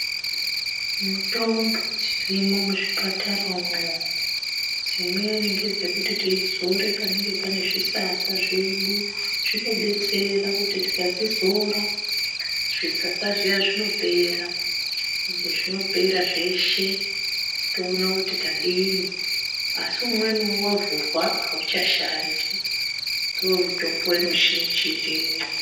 Mitombo dzirimwo muzvipatara umwo dzimweni ngedzekuti tizore panenge pane zvisasa zvedu, zvinodetsera kuti tikadzizora zvisasa zviya zvinopera ende zvinopera zveshe toona kuti tadini asi umweniwo wavhurwa auchashandi ndomutombo mizhinji irimwo.